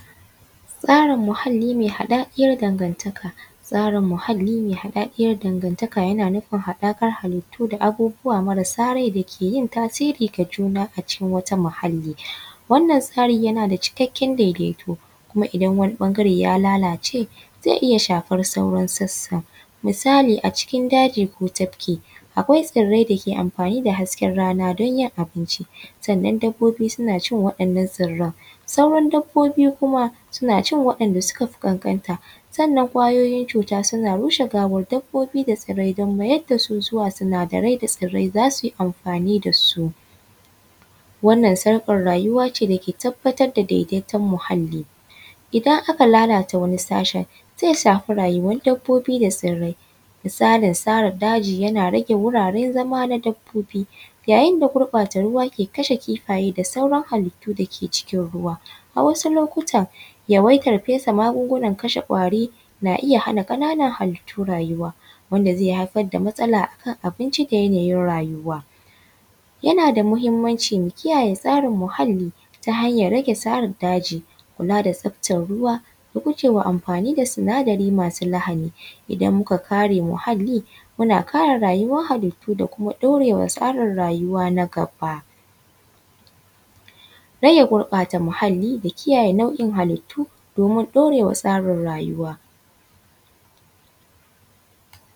Tsarin muhalli mai haɗaɗiyar danganta, tsarin mahalli mai haɗaɗiyar danganta yana nufin haɗaɗiyar halittu da mara sa rai ke yin tasiri ga juna a cikin wata muhalli. Wannan tsarin yana da cikakken daidaito a gidan wani bangaren ya lalace zai iya sahafar sauran sasan misali a ce cikin daji ko tafki akwai tsirai dake amfani da hasken rana don yin abinci. Sannan dabbobi suna cin waɗannan tsarran, sauran dabbobi kuma suna cin waɗanda suka fi kankanta. Sannan ƙwayoyin cuta suna rushe gawar dabbobi wajen mayar da da sinadarai da tsirrai za su yi amfanin da su Wannan sarkar rayuwa da daidaito magana. Idan aka lalata wani sashi zai shafi rayuwar dabbobi da tsirrai. Musalin sara daji yana rage wuraren zaman dabbobi. Yayin da gurbata ruwa yake kashe kifaye da sauran halittu dake cikin ruwa. A wasu lokutan yawaitar magungunan kwari na iya haifar da hana ƙananan halittu rayuwa wanda zai haifa da matsala a kan abinci da yanayin rayuwa. Yana da mahimmanci mu kiyaye muhalli ta hanyar rage sare daji da kula da ruwa da guje wa amfani da sinadarai masu lahani idan muka kare muhalli muna kare rayuwar hallitu da kuma ɗaure wa tsari halittu na gaba. Rage gurɓata muhalli da kiyaye nau'in halittu domin ɗaure wa tsarin rayuwa.